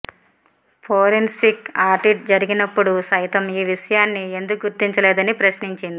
forensic audit జరిగినపుడు సైతం ఈ విషయాన్ని ఎందుకు గుర్తించలేదని ప్రశ్నించింది